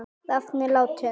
Rafn er látinn.